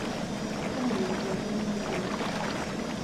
ũka na mũkũa tuohe ngũ.